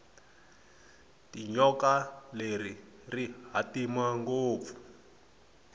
tinyoka leri rihhatima ngopfu